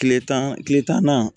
Kile tan kile tan ni